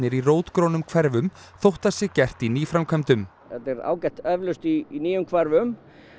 í rótgrónum hverfum þótt það sé gert í nýframkvæmdum þetta er ágætt eflaust í nýjum hverfum